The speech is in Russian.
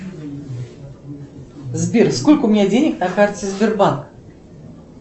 сбер сколько у меня денег на карте сбербанк